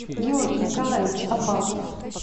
георгий николаевич аббазов